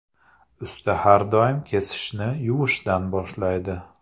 Usta har doim kesishni yuvishdan boshlaydi.